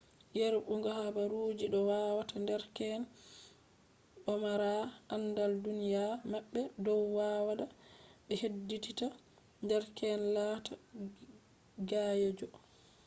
yerbugo haabaruji doo waata derkeen domaaraa andal duuniya mabbe. dow waada be heddiddita derkeen laataa gayyeejo.toto 2004